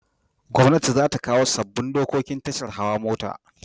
Gwamnati zata kawo sabobin dokoki tashar hawa mota